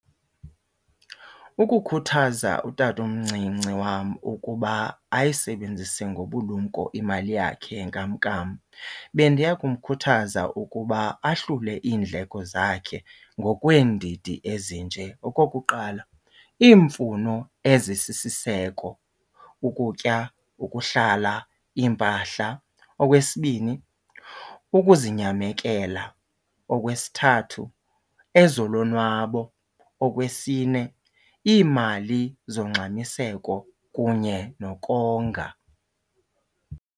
Ukukhuthaza utata omncinci wam ukuba ayisebenzise ngobulumko imali yakhe yenkamnkam bendiya kumkhuthaza ukuba ahlule iindleko zakhe ngokweendidi ezinje. Okokuqala iimfuno ezisisiseko, ukutya, ukuhlala, iimpahla. Okwesibini ukuzinyamekela. Okwesithathu ezolonwabo. Okwesine iimali zongxamiseko kunye nokonga.